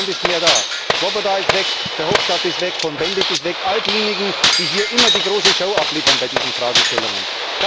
Niemand ist mehr da Swoboda ist weg, Verhofstadt ist weg, Cohn Bendit ist weg all diejenigen, die hier immer die große Show abliefern bei diesen Fragestellungen.